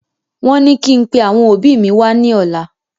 Wón ní kí n pẹ àwọn òbí mi wá ní ọ̀la